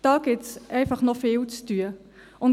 Dort gibt es noch viel zu tun.